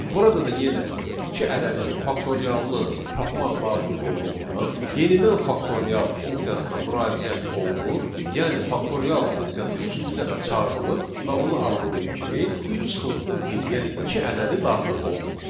Burada da yenə iki ədədinin faktorialını tapmaq lazım olduğundan yenidən faktorial funksiyasına müraciət olunur, yəni faktorial funksiyası üçüncü dəfə çağırılır və ona arqument kimi 3 çıxılsın 1, yəni iki ədədi daxil olunur.